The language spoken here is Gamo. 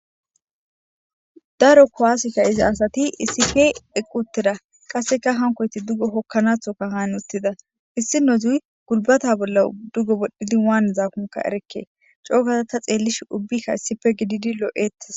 daro kuwase ka'iza asati isife eqqutera qasseka hankoyti duggo hokkanathoka haan uttida issi no zuy gulbata bolla duggo bodhdhidi waan zaakumuka erekke coogazata xeellish ubbikka issipe gididi loo7ettes